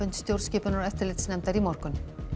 stjórnskipunar og eftirlitsnefndar í morgun